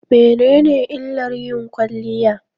Mene ne illar yin kwaliya?